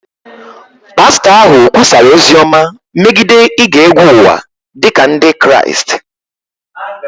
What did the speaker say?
pastọ ahụ kwusara ozi ọma megide ige egwu ụwa dị ka Ndị Kraịst